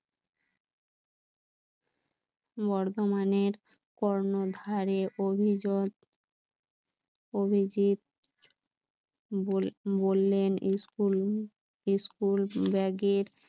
বর্ধমানের কর্ণধারে অভিজিৎ বললেন স্কুল স্কুল ব্যাগের